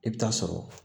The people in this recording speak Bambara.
I bɛ taa sɔrɔ